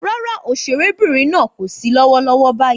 Rárá, òṣèrébìnrin náà kò sí lọ́wọ́lọ́wọ́ báyìí